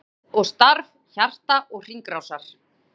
GERÐ OG STARF HJARTA OG HRINGRÁSAR